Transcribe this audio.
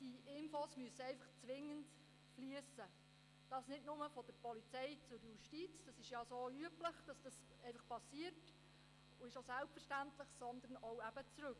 Diese Informationen müssen zwingend fliessen, und das nicht nur von der Polizei zur Justiz – das ist bereits üblich und selbstverständlich –, sondern auch zurück.